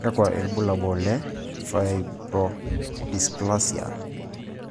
Kakwa ibulabul le Fibrodysplasia